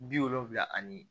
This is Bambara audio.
Bi wolonfila ani